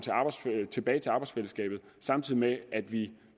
tilbage til arbejdsfællesskabet samtidig med at vi